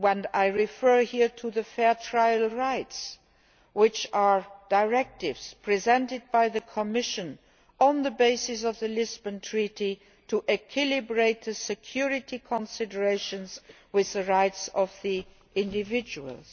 I refer here to fair trial rights, which are directives presented by the Commission on the basis of the Lisbon Treaty to reconcile security considerations with the rights of individuals.